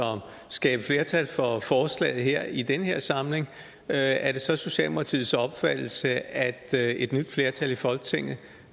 skabe flertal for forslaget her i den her samling er er det så socialdemokratiets opfattelse at et nyt flertal i folketinget